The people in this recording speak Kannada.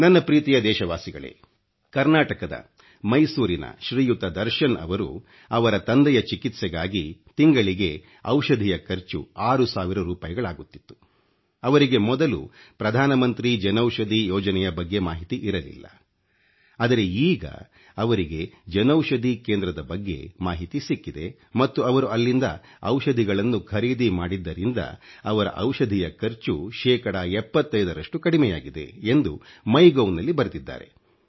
ನನ್ನ ಪ್ರೀತಿಯ ದೇಶವಾಸಿಗಳೇ ಕರ್ನಾಟಕದ ಮೈಸೂರಿನ ಶ್ರೀಯುತ ದರ್ಶನ್ ಅವರು ಅವರ ತಂದೆಯ ಚಿಕಿತ್ಸೆಗಾಗಿ ತಿಂಗಳಿಗೆ ಔಷಧಿಯ ಖರ್ಚು 6 ಸಾವಿರ ರೂಪಾಯಿಗಳಾಗುತ್ತಿತ್ತು ಅವರಿಗೆ ಮೊದಲು ಪ್ರಧಾನಮಂತ್ರಿ ಜನೌಷಧಿ ಯೋಜನೆಯ ಬಗ್ಗೆ ಮಾಹಿತಿ ಇರಲಿಲ್ಲ ಆದರೆ ಈಗ ಅವರಿಗೆ ಜನೌಷಧಿ ಕೇಂದ್ರದ ಬಗ್ಗೆ ಮಾಹಿತಿ ಸಿಕ್ಕಿದೆ ಮತ್ತು ಅವರು ಅಲ್ಲಿಂದ ಔಷಧಿಗಳನ್ನು ಖರೀದಿ ಮಾಡಿದ್ದರಿಂದ ಅವರ ಔಷಧಿಯ ಖರ್ಚು ಶೇಕಡಾ 75 ರಷ್ಟು ಕಡಿಮೆಯಾಗಿದೆ ಎಂದು ಒಥಿಉov ನಲ್ಲಿ ಬರೆದಿದ್ದಾರೆ